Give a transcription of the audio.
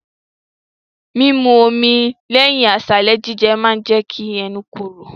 Mímu omi lẹ́yìn àsálà jíjẹ ma jẹ́ kẹ́nu ẹ korò.